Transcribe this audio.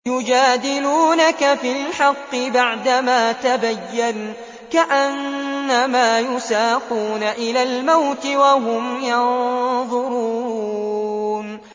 يُجَادِلُونَكَ فِي الْحَقِّ بَعْدَمَا تَبَيَّنَ كَأَنَّمَا يُسَاقُونَ إِلَى الْمَوْتِ وَهُمْ يَنظُرُونَ